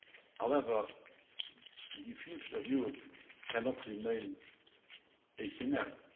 However, the future of Europe cannot remain a scenario.